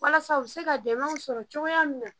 Walasa u bi se ka dɛmɛw sɔrɔ cogoya min na